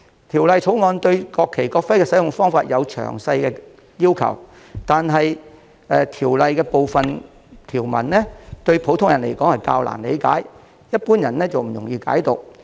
《條例草案》對國旗、國徽的使用方法有詳細的要求，但部分條文對普通人而言較難理解，一般人不易解讀。